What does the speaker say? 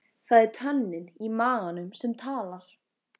Það er tönnin í maganum sem talar.